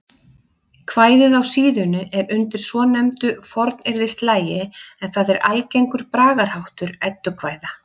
Kvæðið á síðunni er undir svonefndu fornyrðislagi en það er algengur bragarháttur eddukvæða.